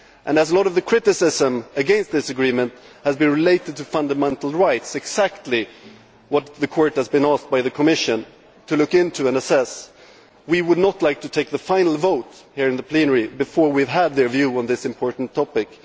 As much of the criticism against this agreement relates to fundamental rights exactly what the Court has been asked by the Commission to look into and assess we would not like to take the final vote in plenary before we have had their view on this important topic.